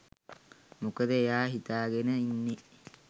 මොකද එයා හිතාගෙන ඉන්නේ